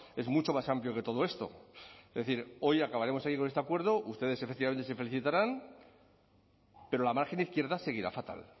es mucho más amplio que todo esto es decir hoy acabaremos aquí con este acuerdo ustedes efectivamente se felicitarán pero la margen izquierda seguirá fatal